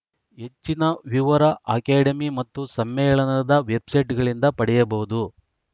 ಹೆಚ್ಚಿನ ವಿವರ ಅಕಾಡೆಮಿ ಮತ್ತು ಸಮ್ಮೇಳನದ ವೆಬ್‌ಸೈಟ್‌ಗಳಿಂದ ಪಡೆಯಬಹುದು